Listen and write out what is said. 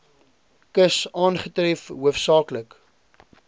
kus aangetref hoofsaaklik